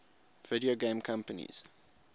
video game companies